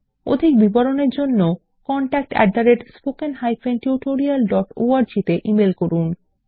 অধিক বিবরণের জন্য contactspoken tutorialorg তে ইমেল করুন